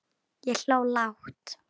Ég hló lágt.